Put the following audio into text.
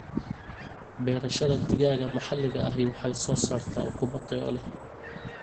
Beerashada digaaga maxaliga ahi waxay soo saartaa ukumo tayo leh.